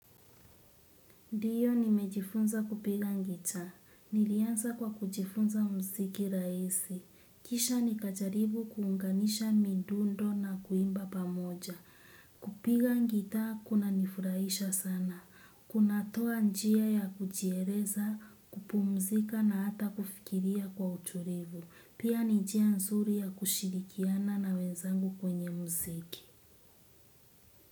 Ndio nimejifunza kupiga gitaa. Nilianza kwa kujifunza muziki rahisi. Kisha nikijaribu kuunganisha midundo na kuimba pamoja. Kupiga gitaa kunanifurahisha sana. Kunatoa njia ya kujieleza, kupumzika na hata kufikiria kwa utulivu. Pia ni njia nzuri ya kushirikiana na wenzangu kwenye muziki.